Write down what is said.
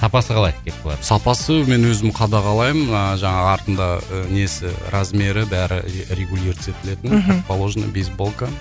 сапасы қалай кепкалардың сапасы мен өзім қадағалаймын мына жаңағы артында ы несі размеры бәрі регулируется етілетін мхм как положена бейсболка